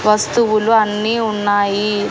వస్తువులు అన్నీ ఉన్నాయి.